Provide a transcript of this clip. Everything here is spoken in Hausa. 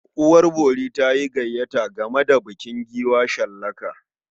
Uwar bori ta yi gayyata gama da bukin giwa shallaka.